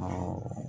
Awɔ